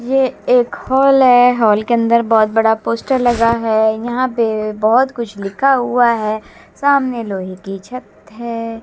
ये एक हॉल है हॉल के अंदर बहोत बड़ा पोस्टर लगा है यहां पे बहोत कुछ लिखा हुआ है सामने लोहे की छत है।